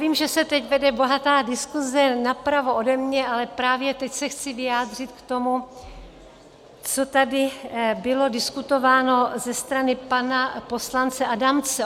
Vím, že se teď vede bohatá diskuse napravo ode mě, ale právě teď se chci vyjádřit k tomu, co tady bylo diskutováno ze strany pana poslance Adamce.